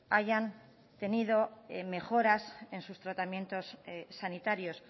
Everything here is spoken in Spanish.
hayan tenido mejoras en sus tratamientos sanitarios